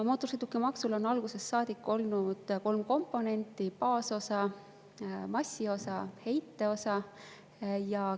Mootorsõidukimaksul on algusest saadik olnud kolm komponenti: baasosa, massiosa ja heiteosa.